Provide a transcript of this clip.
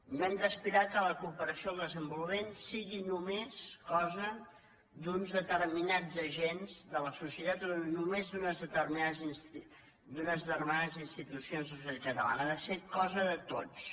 no hem d’aspirar que la cooperació al des en vo lupament sigui només cosa d’uns determinats agents de la societat o només d’unes determinades institucions de la societat catalana ha de ser cosa de tots